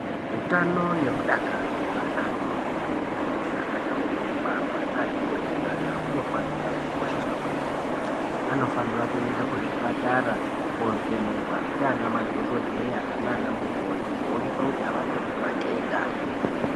Utano nomudakaro zveana atotori , kunyanyisa achangobva kubarwa, neaati kurei nyana hunofanira kukosheswa yaamho. Anofanira kuenda kuzvipatara ,koovhenekwa ndianamadhokodheya naanamikoti ,kuonekwa kuti avana ere matenda.